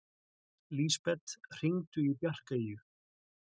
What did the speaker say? Lisbeth, hringdu í Bjarkeyju.